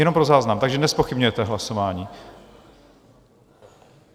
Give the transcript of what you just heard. Jenom pro záznam, takže nezpochybňujete hlasování?